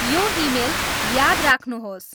यो इमेल याद राख्नुहोस्